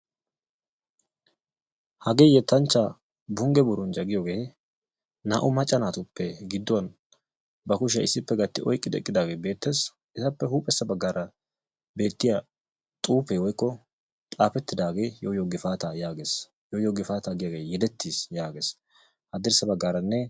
Hagee yettanchchaa bunge burunjja giyoogee naa"u macca naatuppe gidduwaan ba kushiyaa issippe gatti oyqqi eqqidaagee beettees. appe huuphphessa baggaara beettiyaa xuufee xaafettidaagee yoo yoo gifaataa giyaagee yedettiis yaages haddirssa baggaranne.